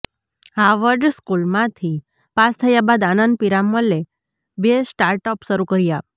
Harvard સ્કૂલમાંથી પાસ થયા બાદ આનંદ પિરામલે બે સ્ટાર્ટઅપ શરૂ કર્યા